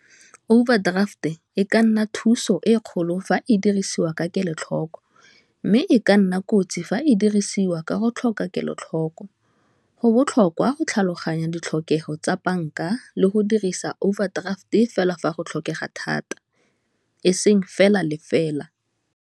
Overdraft e ka nna thuso e kgolo fa e dirisiwa ka kelo-tlhoko, mme e ka nna kotsi fa e dirisiwa ka go tlhoka kelo-tlhoko go botlhokwa go tlhaloganya ditlhokego tsa bank-a le go dirisa overdraft fela fa go tlhokega thata eseng fela le fela.